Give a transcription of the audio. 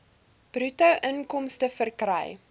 bruto inkomste verkry